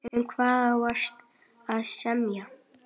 Um hvað á að semja?